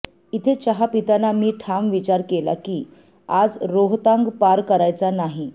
इथे चहा पिताना मी ठाम विचार केला की आज रोहतांग पार करायचा नाही